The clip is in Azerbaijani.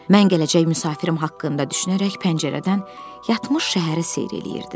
Mən gələcək müsafirim haqqında düşünərək pəncərədən yatmış şəhəri seyr eləyirdim.